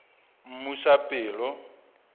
mmusapelo